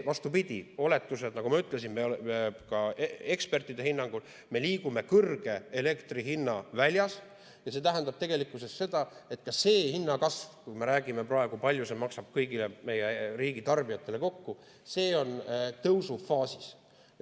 Vastupidi, oletused, nagu ma ütlesin, ka ekspertide hinnangul on, et me liigume elektri kõrge hinna väljas, ja see tähendab tegelikkuses seda, et ka see hinnakasv, kui me räägime praegu, kui palju see maksab kõigile meie riigi tarbijatele kokku, on tõusufaasis.